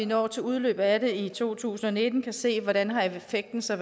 når til udløbet af det i to tusind og nitten kan vi se hvordan effekten så